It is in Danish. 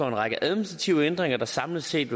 en række administrative ændringer der samlet set